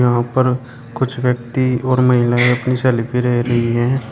यहां पर कुछ व्यक्ति और महिलाएं अपनी सेल्फी ले रही है।